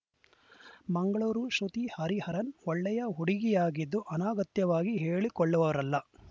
ಮಂಗಳೂರು ಶ್ರುತಿ ಹರಿಹರನ್‌ ಒಳ್ಳೆಯ ಹುಡುಗಿಯಾಗಿದ್ದು ಅನಗತ್ಯವಾಗಿ ಹೇಳಿಕೊಳ್ಳುವವರಲ್ಲ